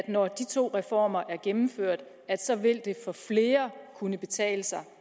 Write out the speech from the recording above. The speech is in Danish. når de to reformer er gennemført så vil kunne betale sig